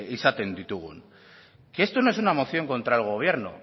izaten ditugun que esto no es una moción contra el gobierno